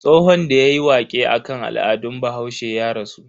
Tsohon da yayi waƙe akan al'adun bahaushe ya rasu.